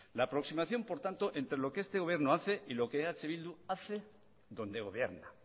la aproximación por tanto entre lo que este gobierno y lo que eh bildu hace donde gobierna